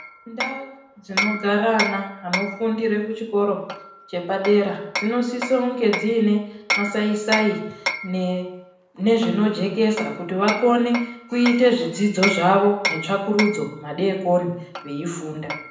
Ndau dzinogara ana anofundire kuchikoro chepadera dzinosise kunge dziine masai sai nezvinojekesa kuti vakone kuite zvidzidzo zvavo netsvakurudzo madekone veifunda.